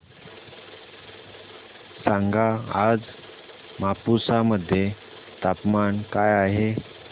सांगा आज मापुसा मध्ये तापमान काय आहे